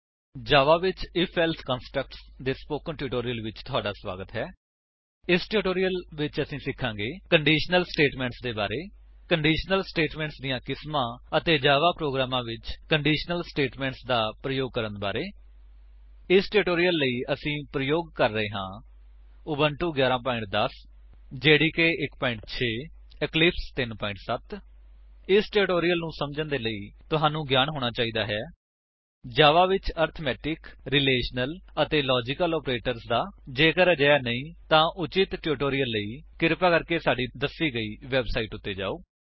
ਜਾਵਾ ਵਿੱਚ I F else constructs ਦੇ spoken tutorial ਵਿੱਚ ਤੁਹਾਡਾ ਸਵਾਗਤ ਹੈ ਇਸ ਟਿਊਟੋਰਿਅਲ ਵਿੱਚ ਅਸੀਂ ਸਿਖਾਂਗੇ ਕੰਡੀਸ਼ਨਲ ਸਟੇਟਮੇਂਟਸ ਦੇ ਬਾਰੇ ਕੰਡੀਸ਼ਨਲ ਸਟੇਟਮੇਂਟਸ ਦੀਆਂ ਕਿਸਮਾਂ ਅਤੇ ਜਾਵਾ ਪ੍ਰੋਗਰਾਮਾਂ ਵਿੱਚ ਕੰਡੀਸ਼ਨਲ ਸਟੇਟਮੇਂਟਸ ਦਾ ਪ੍ਰਯੋਗ ਕਰਨ ਬਾਰੇ ਇਸ ਟਿਊਟੋਰਿਅਲ ਲਈ ਅਸੀ ਪ੍ਰਯੋਗ ਕਰਾਂਗੇ ਉਬੁੰਟੂ v 11 10 ਜੇਡੀਕੇ 1 6 ਅਤੇ ਇਕਲਿਪਸ 3 7 0 ਇਸ ਟਿਊਟੋਰਿਅਲ ਨੂੰ ਸਮਝਣ ਦੇ ਲਈ ਤੁਹਾਨੂੰ ਗਿਆਨ ਹੋਣਾ ਚਾਹੀਦਾ ਹੈ ਜਾਵਾ ਵਿੱਚ ਅਰਿਥਮੇਟਿਕ ਰਿਲੇਸ਼ਨਲ ਅਤੇ ਲਾਜਿਕਲ ਆਪਰੇਟਰਸ ਦਾ ਜੇਕਰ ਅਜਿਹਾ ਨਹੀਂ ਤਾਂ ਉਚਿਤ ਟਿਊਟੋਰਿਅਲ ਲਈ ਕ੍ਰਿਪਾ ਸਾਡੀ ਦੱਸੀ ਗਈ ਵੇਬਸਾਈਟ ਉੱਤੇ ਜਾਓ